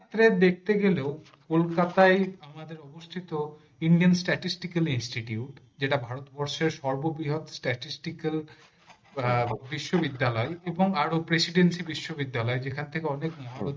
উত্তরে দেখতে গেলেও কলকাতা আই আমাদের অবস্থিত indian statistical institute যেটা ভারতবর্ষের সর্ববৃহৎ statistical বিশ্ববিদ্যালয় এবং আরো presidency বিশ্ববিদ্যালয় যেখান থেকে